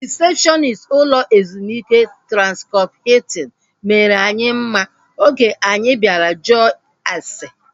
Rịsepshọnist ụlọ ezumike Transkọp Hiltin mere anyị mma oge anyi bịara jụọ ase